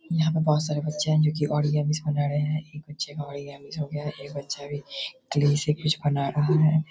यहाँ बहुत सारे बच्चे हैं जो कि बना रहे हैं। एक बच्चे का हो गया है। एक बच्चा अभी क्ले से कुछ बना रहा है।